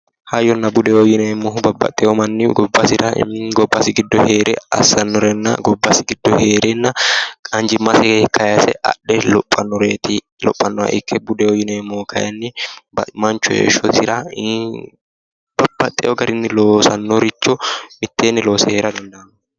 Hayyonna budeho yinneemmohu, babbaxeyo manni gobbasira gobbasi giddo heere assanorenna, gobbasi giddo heere anjimasinni kayise adhe lophanore ikkanna, budeho yinneemmohu kayinni manchu heeshshosira ii'i babbaxino garinni loosanoricho heere dandano